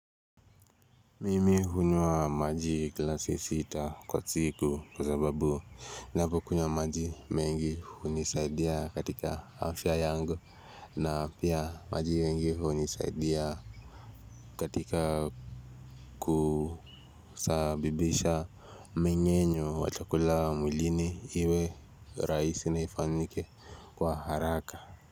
Mimi hunywa maji glasi sita kwa siku kwa sababu ninavykunywa maji mengi hunisaidia katika afya yangu na pia maji mengi hunisaidia katika kusabibisha mingenyo wa chakula mwilini iwe rahisi na ifanyike kwa haraka.